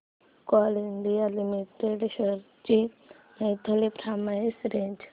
Coal India limited shares ची monthly price range